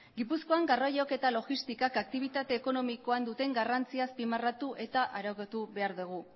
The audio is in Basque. gipuzkoan garraioak eta logistikak aktibitate ekonomikoan duten garrantzia azpimarratu eta arautu behar dugu